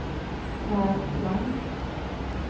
Pär Klang